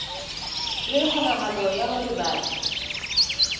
le kgonahalo ya hore batho